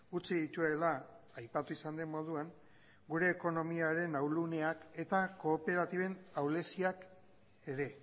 utzi dituela aipatu izan den moduan gure ekonomiaren ahulgunean eta kooperatiben ahuleziak ere